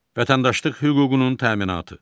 Vətəndaşlıq hüququnun təminatı.